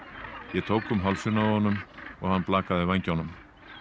ég tók um hálsinn á honum og hann blakaði vængjunum